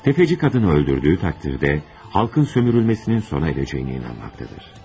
Sələmçi qadını öldürdüyü təqdirdə, xalqın istismarının sona çatacağına inanır.